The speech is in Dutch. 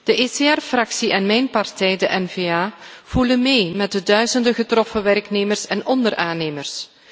De ECR Fractie en mijn partij, de N VA, voelen mee met de duizenden getroffen werknemers en onderaannemers.